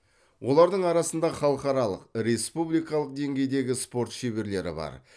олардың арасында халықаралық республикалық деңгейдегі спорт шеберлері бар